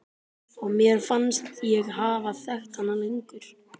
Og mér fannst ég hafa þekkt hana lengur.